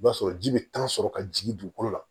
I b'a sɔrɔ ji bɛ tan sɔrɔ ka jigin dugukolo la